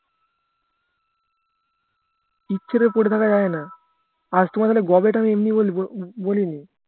ইচ্ছার ওপরে থাকা যায়না গবেট আমি এমনি বলিনি